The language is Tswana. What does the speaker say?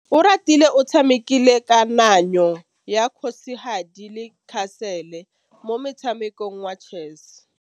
Oratile o tshamekile kananyô ya kgosigadi le khasêlê mo motshamekong wa chess.